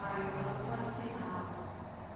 ayo a vha fhasi hawe